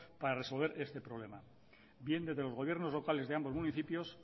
para resolver este problema bien desde los gobiernos locales de ambos municipios